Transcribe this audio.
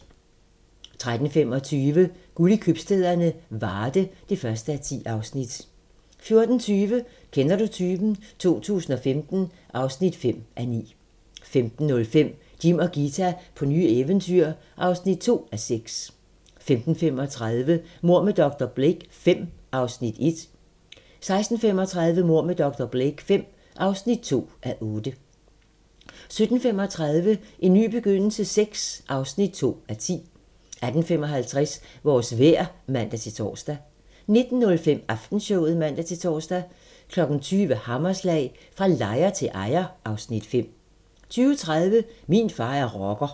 13:25: Guld i købstæderne - Varde (1:10) 14:20: Kender du typen? 2015 (5:9) 15:05: Jim og Ghita på nye eventyr (2:6) 15:35: Mord med dr. Blake V (1:8) 16:35: Mord med dr. Blake V (2:8) 17:35: En ny begyndelse VI (2:10) 18:55: Vores vejr (man-tor) 19:05: Aftenshowet (man-tor) 20:00: Hammerslag - Fra lejer til ejer (Afs. 5) 20:30: Min far er rocker